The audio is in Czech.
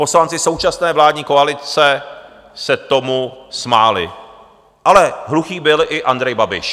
Poslanci současné vládní koalice se tomu smáli, ale hluchý byl i Andrej Babiš.